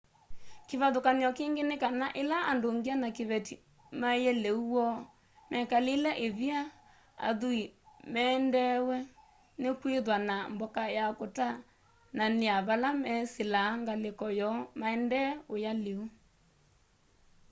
kivathuky'o kingi ni kana ila andu ngya na kiveti maie liu woo mekalile ivila athui mendeew'e ni kwithwa na mboka ya kutanania vala mesilaa ngaliko yoo maendee uya liu